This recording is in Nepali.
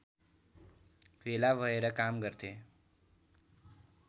भेला भएर काम गर्थे